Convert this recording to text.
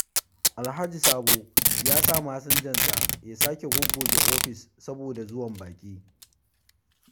Alhaji Sambo ya sa masinjansa ya sake goggoge ofis saboda zuwan baƙi.